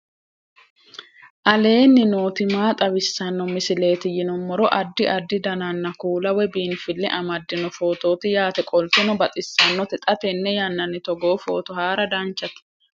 aleenni nooti maa xawisanno misileeti yinummoro addi addi dananna kuula woy biinfille amaddino footooti yaate qoltenno baxissannote xa tenne yannanni togoo footo haara danchate